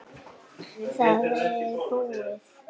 Það er búið.